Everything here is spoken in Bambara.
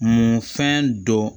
Munfɛn dɔ